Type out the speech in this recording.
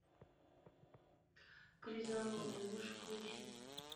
крезанутые можешь включить